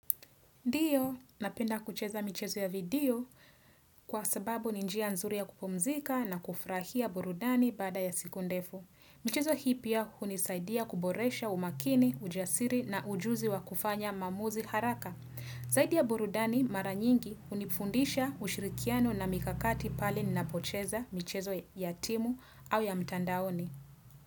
Ndiyo, napenda kucheza michezo ya video kwa sababu ni njia nzuri ya kupumzika na kufurahia burudani baada ya siku ndefu. Michezo hii pia hunisaidia kuboresha umakini, ujasiri na ujuzi wa kufanya maamuzi haraka. Zaidi ya burudani mara nyingi hunifundisha ushirikiano na mikakati pale ninapocheza michezo ya timu au ya mtandaoni.